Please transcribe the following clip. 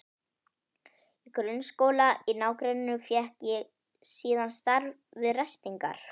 Í grunnskóla í nágrenninu fékk ég síðan starf við ræstingar.